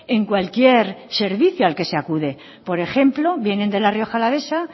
en cualquier servicio al que se acude por ejemplo vienen de la rioja alavesa